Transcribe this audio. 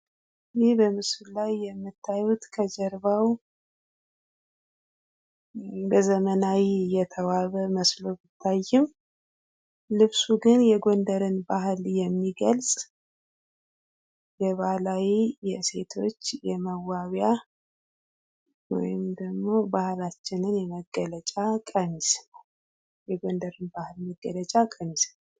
ይህ በምስሉ ላይ የምታዩት ከጀርባ በዘመናዊ የተዋበ መስሎ የሚታይም ልብሱ ግን የጎንደርን የሚገልጽ የባህላዊ የሴቶች የመዋቢያ ወይም ደግሞ ባህላችን መገለጫ ቀሚስ ነወ። የጎንደር ባህል መገለጫ ቀሚስ ነው።